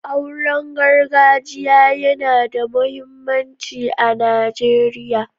Auren gargajiya yana da muhimmanci a Najeriya.